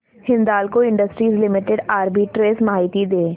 Hindalco industries limited arbitrage माहिती दे